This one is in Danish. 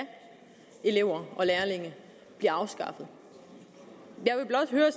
elever og lærlinge bliver afskaffet jeg vil blot høre